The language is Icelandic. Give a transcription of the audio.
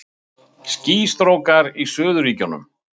Skýstrókar í Suðurríkjunum